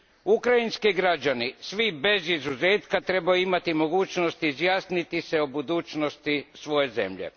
Ukrajinski građani, svi bez izuzetka, trebaju imati mogućnost izjasniti se o budućnosti svoje zemlje.